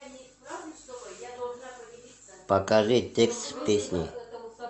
покажи текст песни